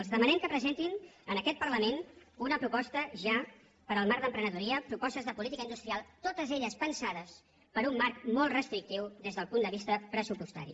els demanem que presentin en aquest parlament una proposta ja per al marc d’emprenedoria propostes de política industrial totes elles pensades per a un marc molt restrictiu des del punt de vista pressupostari